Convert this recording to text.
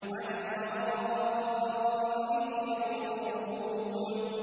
عَلَى الْأَرَائِكِ يَنظُرُونَ